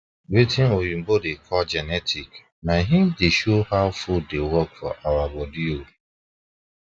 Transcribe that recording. watin oyibo da call genetic na him da show how food da work for body ooo